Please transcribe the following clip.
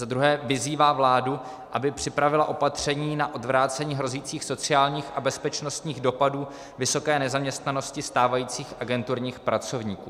za druhé vyzývá vládu, aby připravila opatření na odvrácení hrozících sociálních a bezpečnostních dopadů vysoké nezaměstnanosti stávajících agenturních pracovníků.